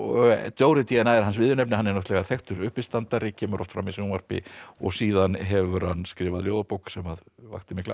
Dóri d n a er hans viðurnefni hann er þekktur uppistandari kemur oft fram í sjónvarpi og síðan hefur hann skrifað ljóðabók sem vakti mikla